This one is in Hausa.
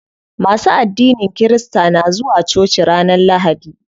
Masu addinin kirista na zuwa coci ranar lahadi.